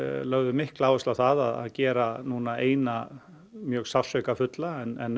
lögðum mikla áherslu á það að gera núna eina mjög sársaukafulla en